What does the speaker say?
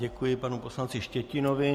Děkuji panu poslanci Štětinovi.